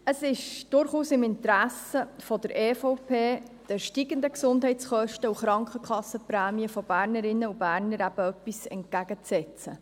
Es ist durchaus im Interesse der EVP, den steigenden Gesundheitskosten und Krankenkassenprämien von Bernerinnen und Bernern etwas entgegenzusetzen.